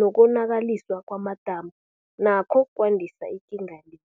nokonakaliswa kwamadamu nakho kwandisa ikinga le.